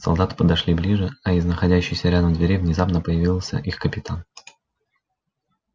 солдаты подошли ближе а из находящейся рядом двери внезапно появился их капитан